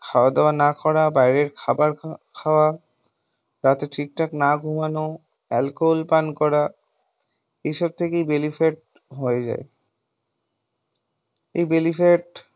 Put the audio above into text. খাওয়া দাওয়া না করা, বাইরের খাবার খাওয়া, রাতে ঠিকঠাক না ঘুমানো, alcohol পান করা এইসব থেকেই belly fat হয়ে যায়। এই belly fat